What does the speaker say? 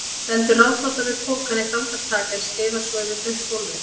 Stendur ráðþrota við pokann eitt andartak en skeiðar svo yfir blautt gólfið.